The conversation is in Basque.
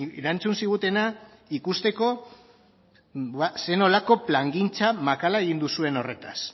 erantzun zigutena ikusteko zer nolako plangintza makala egin duzuen horretaz